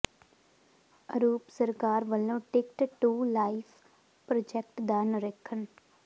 ਅਰੂਪ ਸਰਕਾਰ ਵਲੋਂ ticket to life project ਦਾ ਨਿਰੀਖਣ